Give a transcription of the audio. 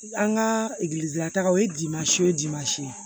An ka taga o ye dimansi ye o dimansi ye